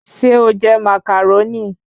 Ṣé o jẹ Màcàrónì?